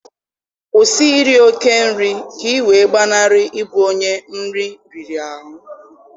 Kwụsị iri oke nri ka ị wee gbanarịe ịbụ onye nri riri ahụ!